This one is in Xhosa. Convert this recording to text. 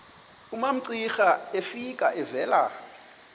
umamcira efika evela